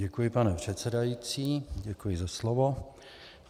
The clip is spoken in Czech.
Děkuji, pane předsedající, děkuji za slovo.